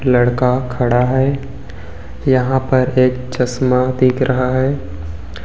लड़का खड़ा है यहां पर एक चश्मा दिख रहा है।